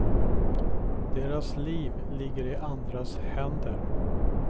Deras liv ligger i andras händer.